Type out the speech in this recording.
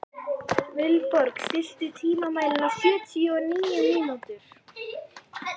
Vilborg, stilltu tímamælinn á sjötíu og níu mínútur.